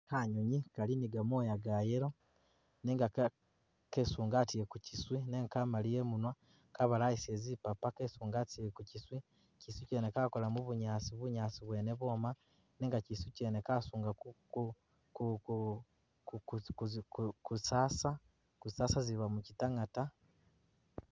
Kanyunyi kali ni gamwoya ga yellow nenga kesungatile kukyiswi nenga kamaliya imunwa kabalayisile zipapa kesungatile kukyiswi, kyiswi kyene kakola mubunyaasi bunyaasi bwene bwoma nenga kyiswi kyene kasunga ku zisasa zisasa ziba mukyitangata.